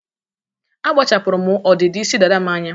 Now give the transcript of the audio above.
Akpachapụrụ m ọdịdị isi dada m anya.